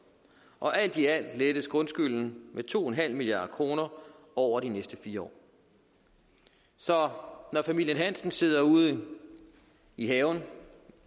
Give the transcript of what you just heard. og alt i alt lettes grundskylden med to milliard kroner over de næste fire år så når familien hansen sidder ude i haven